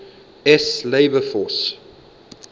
s labor force